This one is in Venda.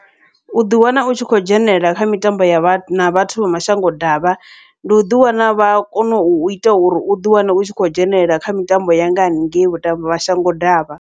U ḓi wana u tshi khou dzhenelela kha mitambo yavha na vhathu vha mashango davha, ndi u ḓi wana vha kone uita uri u ḓiwane u tshi khou dzhenelela kha mitambo ya nga haningei vhuṱa mashango ḓivha.